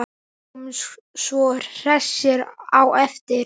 Sjáumst svo hressir á eftir.